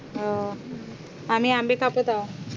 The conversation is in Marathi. हो आम्ही आंबे कापत आहोत